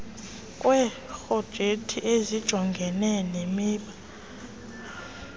kweeprojekthi ezijongene nemiba